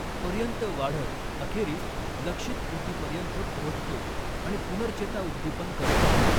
पर्यंत वाढत अखेरीस लक्ष्यित ऊतीपर्यंत पोहोचतो आणि पुनर्चेताउद्दीपन करतो.